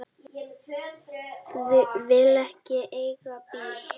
Vil ekki eiga bíl.